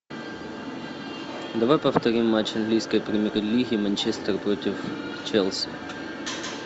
давай повторим матч английской премьер лиги манчестер против челси